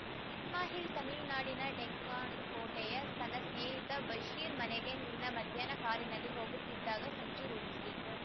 ಇಸ್ಮಾಯಿಲ್ ತಮಿಳುನಾಡಿನ ಡೆಂಕಣಿಕೋಟೆಯ ತನ್ನ ಸ್ನೇಹಿತ ಬಶೀರ್ ಮನೆಗೆ ನಿನ್ನೆ ಮಧ್ಯಾಹ್ನ ಕಾರಿನಲ್ಲಿ ಹೋಗುತ್ತಿದ್ದಾಗ ಸಂಚು ರೂಪಿಸಿ